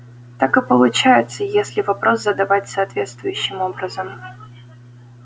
так и получается если вопрос задавать соответствующим образом